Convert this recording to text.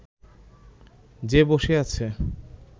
যে বসে আছে